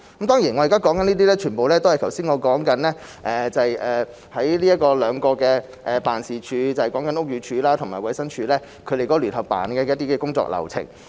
當然，我現在所說的全部都是剛才我所說的兩個辦事處，即屋宇署及食環署的聯辦處的一些工作流程。